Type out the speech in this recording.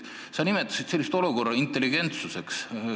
Sa nimetasid sellisest olukorrast rääkides intelligentsust.